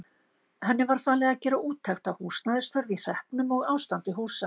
Henni var falið að gera úttekt á húsnæðisþörf í hreppnum og ástandi húsa.